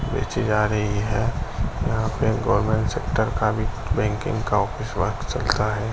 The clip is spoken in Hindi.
बेची जा रही है। यहाँ पे गवर्नमेंट सेक्टर का भी बैंकिंग का ऑफिस वर्क चलता है।